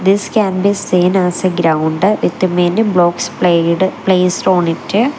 this can be seen as a ground with many blocks pled placed on it.